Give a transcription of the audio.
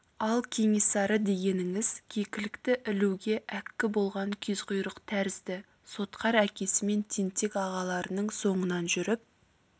ал кенесары дегеніңіз кекілікті ілуге әккі болған кезқұйрық тәрізді сотқар әкесі мен тентек ағаларының соңынан жүріп